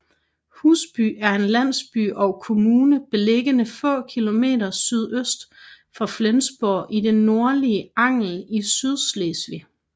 Husby er en landsby og kommune beliggende få km sydøst for Flensborg i det nordlige Angel i Sydslesvig